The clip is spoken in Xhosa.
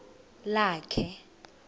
lakhe